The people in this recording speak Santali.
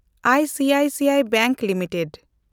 ICICI bank limited